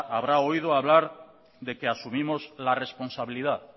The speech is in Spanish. habrá oído hablar de que asumimos la responsabilidad